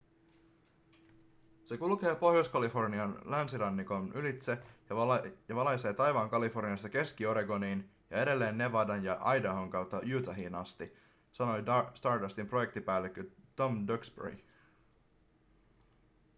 se kulkee pohjois-kalifornian länsirannikon ylitse ja valaisee taivaan kaliforniasta keski-oregoniin ja edelleen nevadan ja idahon kautta utahiin asti sanoi stardustin projektipäällikkö tom duxbury